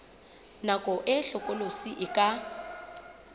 nako e hlokolosi e ka